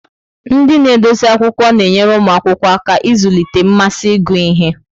Ndị na-edozi akwụkwọ na-enyere ụmụ akwụkwọ aka ịzụlite mmasị ịgụ ihe.